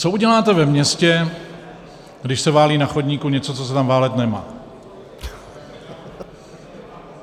Co uděláte ve městě, když se válí na chodníku něco, co se tam válet nemá?